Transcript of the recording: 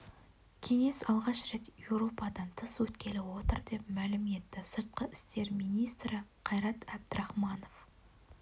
кеңес алғаш рет еуропадан тыс өткелі отыр деп мәлім етті сыртқы істер министрі қайрат әбдірахманов